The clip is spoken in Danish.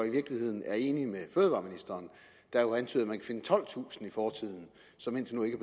i virkeligheden er enig med fødevareministeren der jo antyder at man kan finde tolvtusind t i fortiden som indtil nu ikke